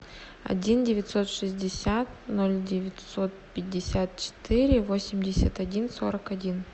один девятьсот шестьдесят ноль девятьсот пятьдесят четыре восемьдесят один сорок один